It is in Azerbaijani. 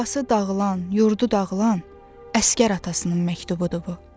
Yuvası dağılan, yurdu dağılan əsgər atasının məktubudur bu.